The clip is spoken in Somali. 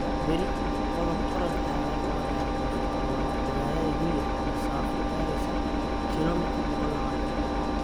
Berri, qodob-orod ayaa loo qaadanaya koonfurta Rwanda, magaalada Huye, masafo gaadhaysa kiiloomitir 120.